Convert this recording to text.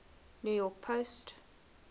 new york post